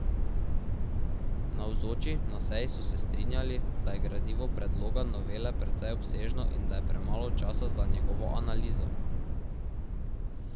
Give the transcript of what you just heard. Navzoči na seji so se strinjali, da je gradivo predloga novele precej obsežno in da je premalo časa za njegovo analizo.